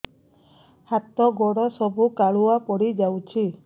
ହାତ ଗୋଡ ସବୁ କାଲୁଆ ପଡି ଯାଉଛି